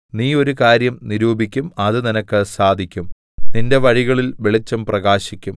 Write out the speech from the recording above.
നീ ഒരു കാര്യം നിരൂപിക്കും അത് നിനക്ക് സാധിക്കും നിന്റെ വഴികളിൽ വെളിച്ചം പ്രകാശിക്കും